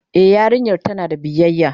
E yarinyar tana da biyayya.